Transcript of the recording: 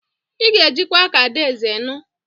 Ị ga-ejikwa ka adaeze nụ!